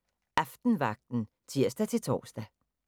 23:05: Aftenvagten (tir-tor)